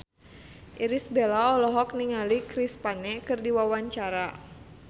Irish Bella olohok ningali Chris Pane keur diwawancara